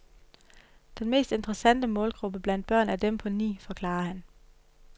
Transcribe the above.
Den mest interessante målgruppe blandt børn er dem på ni, forklarer han.